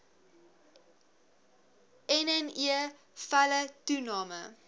nne felle toename